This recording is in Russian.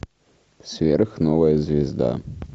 сверхновая звезда